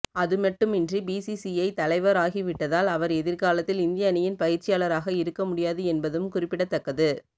அதுமட்டுமன்றி BCCI தலைவர் ஆகி விட்டதால் அவர் எதிர்காலத்தில் இந்திய அணியின் பயிற்சியாளராக இருக்க முடியாது என்பதும் குறிப்பிடத்தக்கது